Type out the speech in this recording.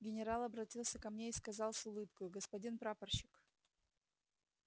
генерал обратился ко мне и сказал с улыбкою господин прапорщик